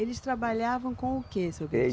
Eles trabalhavam com o que, seu